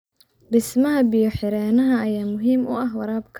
Dhismaha biyo-xireennada ayaa muhiim u ah waraabka.